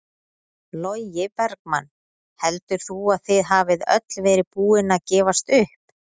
Logi Bergmann: Heldur þú að þið hafið öll verið búin að gefast upp?